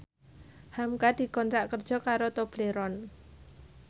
hamka dikontrak kerja karo Tobleron